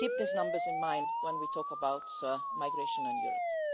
Keep these numbers in mind when we talk about migration in Europe.